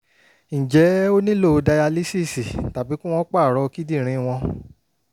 ǹjẹ́ ó nílò dayalísíìsì tàbí kí wọ́n pààrọ̀ kíndìnrín wọn?